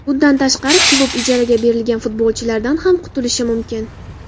Bundan tashqari, klub ijaraga berilgan futbolchilardan ham qutulishi mumkin.